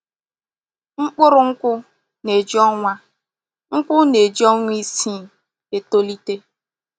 Mkpụrụ nkwụ na-eji ọnwa nkwụ na-eji ọnwa isii eto lite.